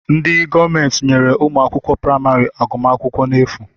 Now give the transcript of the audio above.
Ndị gọọmenti nyere ụmụ akwụkwọ praịmarị agụmakwụkwọ n'efu